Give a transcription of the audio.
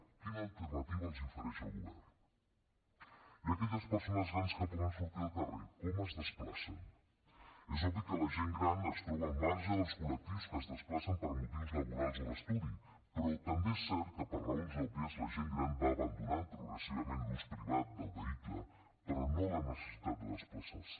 quina alternativa els ofereix el govern i aquelles persones grans que poden sortir al carrer com es desplacen és obvi que la gent gran es troba al marge dels col·lectius que es desplacen per motius laborals o d’estudi però també és cert que per raons òbvies la gent gran va abandonant progressivament l’ús privat del vehicle però no la necessitat de desplaçar se